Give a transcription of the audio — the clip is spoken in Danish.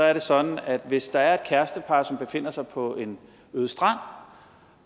er det sådan at hvis der er et kærestepar som befinder sig på en øde strand